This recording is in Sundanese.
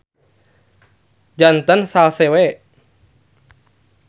Janten salse we.